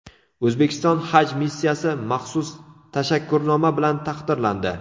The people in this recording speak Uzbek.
O‘zbekiston haj missiyasi maxsus tashakkurnoma bilan taqdirlandi.